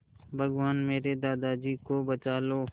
भगवान मेरे दादाजी को बचा लो